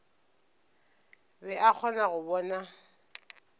be a kgona go bona